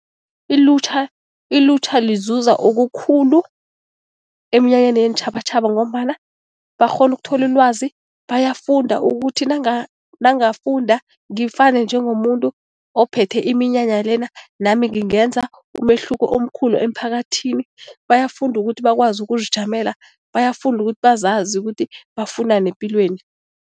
Ilutjha ilutjha lizuza okukhulu eminyanyeni yeentjhabatjhaba ngombana bakghona ukuthola ilwazi, bayafunda ukuthi nangafunda ngifane njengomuntu ophethe iminyanya lena, nami ngingenza umehluko omkhulu emphakathini. Bayafunda ukuthi bakwazi ukuzijamela, bayafunda ukuthi bazazi ukuthi bafunani epilweni.